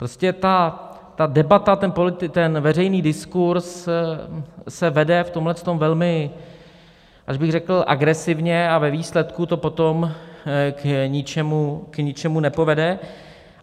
Prostě ta debata, ten veřejný diskurz se vede v tomto velmi až bych řekl agresivně a ve výsledku to potom k ničemu nepovede.